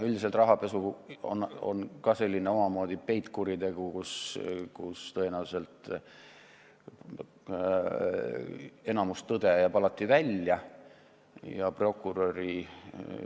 Üldiselt aga on rahapesu omamoodi peitkuritegu, mille korral tõenäoliselt suurem osa tõde jääb alati välja selgitamata.